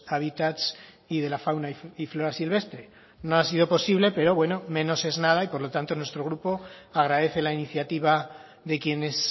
hábitats y de la fauna y flora silvestre no ha sido posible pero bueno menos es nada y por lo tanto nuestro grupo agradece la iniciativa de quienes